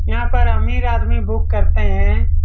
यहाँ पर अमीर आदमी बुक करते हैं।